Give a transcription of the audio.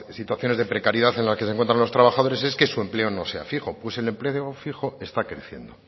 situaciones de precariedad en la que se encuentran los trabajadores es que su empleo no sea fijo pues el empleo fijo está creciendo